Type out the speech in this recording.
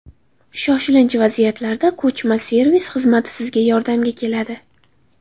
Shoshilinch vaziyatlarda ko‘chma servis xizmati sizga yordamga keladi.